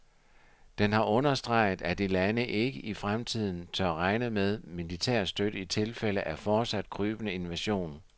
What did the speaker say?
Den har understreget, at de lande ikke i fremtiden tør regne med militær støtte i tilfælde af fortsat krybende invasion.